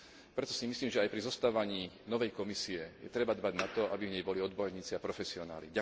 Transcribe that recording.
Preto si myslím, že aj pri zostavovaní novej Komisie treba dbať na to, aby v nej boli odborníci a profesionáli.